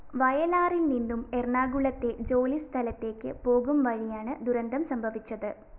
വയലാറില്‍നിന്നും എറണാകുളത്തെ ജോലിസ്ഥലത്തേക്ക് പോകുംവഴിയാണ് ദുരന്തം സംഭവിച്ചത്